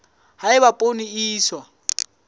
ha eba poone e iswa